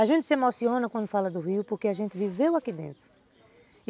A gente se emociona quando fala do rio porque a gente viveu aqui dentro.